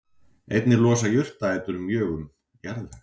Einnig losa jurtarætur mjög um jarðveg.